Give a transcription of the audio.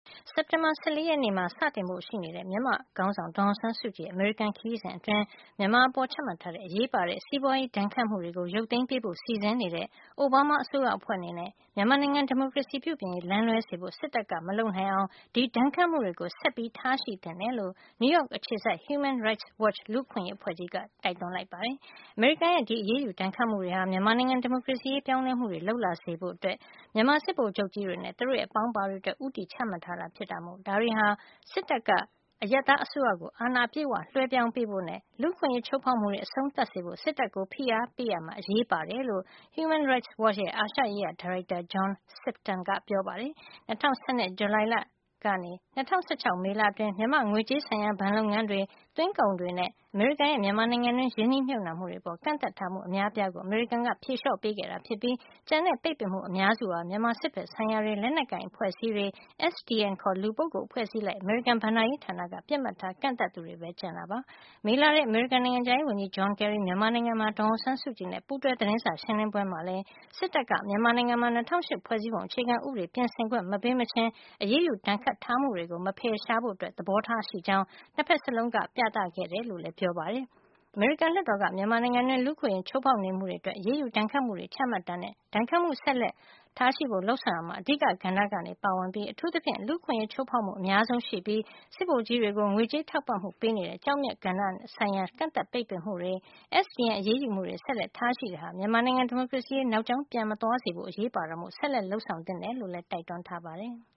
စက်တင်ဘာလ ၁၄ ရက်နေ့မှာ စတင်ဖို့ ရှိတဲ့ မြန်မာ့ခေါင်းဆောင် ဒေါ်အောင်ဆန်း စုကြည်ရဲ့ အမေရိကန် ခရီးစဉ်အတွင်း မြန်မာအပေါ် ချမှတ်ထားတဲ့ အရေးပါတဲ့ စီးပွါးရေး ဒဏ်ခတ်မှုတွေ ရုတ်သိမ်းပေးဖို့ စီစဉ်နေတဲ့ အိုဘားမား အစိုးရအဖွဲ့ အနေနဲ့ မြန်မာနိုင်ငံ ဒီမိုကရေစီ ပြုပြင်ရေး လမ်းလွဲစေဖို့ စစ်တပ်က မလုပ်နိုင်အောင် ဒီဒဏ်ခတ် မှုတွေကို ဆက်လက်ထားရှိ သင့်တယ်လို့ နယူးရောက် အခြေစိုက် Human Rights Watch လူ့အခွင့်ရေး အဖွဲ့ကြီးက တိုက်တွန်းလိုက်ပါတယ်။ အမေရိကန်ရဲ့ ဒီ အရေးယူဒဏ်ခတ် မှုတွေဟာ မြန်မာနိုင်ငံ ဒီမိုကရေစီရေး ပြောင်း လဲမှုတွေ လုပ်လာစေဖို့ မြန်မာ စစ်ဗိုလ်ချုပ်ကြီးတွေနဲ့ သူတို့ရဲ့ အပေါင်းအပါတွေ အတွက် ဦးတည်ချမှတ်ထားတာ ဖြစ်တဲ့အတွက် ဒါတွေဟာ စစ်တပ်က အရပ်သား အစိုးရကို အာဏာအပြည့်အဝ လွှဲပြောင်းပေးဖို့နဲ့ လူ့အခွင့်ရေးချိုးဖေါက်မှုတွေ အဆုံး သတ်စေဖို့ စစ်တပ်ကို ဖိအားပေးရာမှာ အရေးပါတယ်လို့ HRW ရဲ့ အာရှရေးရာ ဒါရိုက်တာ John Sifton က ပြောပါတယ်။ ၂၀၁၂ ဇူလိုင်လကနေ ၂၀၁၆ မေလအတွင်း မြန်မာ့ငွေကြေးဆိုင်ရာ ဘဏ်လုပ်ငန်းေ တွ၊ သွင်းကုန်တွေနဲ့ အမေရိကန်ရဲ့ မြန်မာနိုင်ငံတွင်း ရင်းနှီးမြှုပ်နှံမှုတွေ အပေါ် ကန့် သတ်ထားမှု အများအပြားကို အမေရိကန်က ဖြေလျှော့ပေးခဲ့တာ ဖြစ်ပြီး ကျန်တဲ့ ပိတ်ပင်မှု အများစုဟာ မြန်မာစစ်ဘက်ဆိုင်ရာတွေ၊ လက်နက်ကိုင် အဖွဲ့အစည်းတွေ၊ SDN ခေါ် လူပုဂ္ဂိုလ် အဖွဲ့စည်း အလိုက် အမေရိကန် ဘဏ္ဍာရေးဌာနက ပစ်မှတ်ထား ကန့်သတ်သူတွေပဲ ကျန်တာပါ။ မေလထဲ အမေရိကန် နိုင်ငံခြားရေးဝန်ကြီး John Kerry မြန်မာနိုင်ငံမှာ ဒေါ်အောင် ဆန်းစုကြည်နဲ့ ပူးတွဲသတင်းစာ ရှင်းလင်းပွဲမှာလည်း စစ်တပ်က မြန်မာနိုင်ငံမှာ ၂၀၀၈ ဖွဲ့စည်းပုံ အခြေခံ ဥပဒေ ပြင်ဆင်ခွင့် မပေးမချင်း အရေးယူ ဒဏ်ခတ်ထား မှုတွေ မဖယ်ရှားဖို့ သဘောထား ရှိကြောင်း ၂ ဖက်စလုံးက ပြသခဲ့တယ်လို့ HRW ကပြောပါတယ်။ အမေရိကန် လွှတ်တော်က မြန်မာနိုင်ငံတွင်း လူ့အခွင့်ရေး ချိုးဖေါက်နေမှုတွေ အတွက် အရေးယူ ဒဏ်ခတ်မှုတွေ ချမှတ်တာနဲ့ ဒဏ်ခတ်မှု ဆက်လက်ထားရှိဖို့ လုပ်ဆောင်ရာမှာ အဓိကကဏ္ဍကနေ ပါဝင်နေပြီး အထူးသဖြင့် လူ့အခွင့်ရေး ချိုးဖေါက်မှု အများဆုံး ရှိနေပြီး စစ်ဗိုလ်ကြီးတွေ ကို ငွေကြေးထောက်ပံ့မှု ပေးနေ တဲ့ ကျောက်မျက် ကဏ္ဍဆိုင်ရာ ကန့်သတ် ပိတ်ပင်မှုတွေ SDN အရေးယူမှုတွေ ဆက်လက် ထားရှိတာဟာ မြန်မာနိုင်ငံ ဒီမိုကရေစီရေး နောက်ကြောင်း ပြန်မသွားေ စဖို့ အရေးပါတာမို့ ဆက်လက် လုပ်ဆောင်သင့်တယ်လို့ တိုက်တွန်းထားပါတယ်။